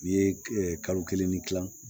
N'i ye kalo kelen ni kila